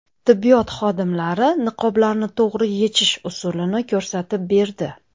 Tibbiyot xodimlari niqoblarni to‘g‘ri yechish usulini ko‘rsatib berdi .